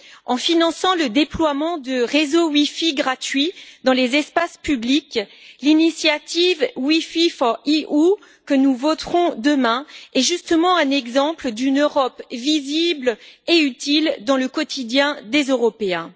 En finançant le déploiement de réseaux wifi gratuits dans les espaces publics, l'initiative WiFi4EU, que nous voterons demain, est justement un exemple d'une Europe visible et utile dans le quotidien des Européens.